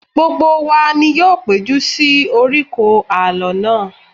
Gbogbo wa ni yóò péjú sí oríkò alọ náà